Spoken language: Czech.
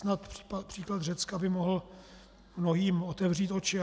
Snad příklad Řecka by mohl mnohým otevřít oči.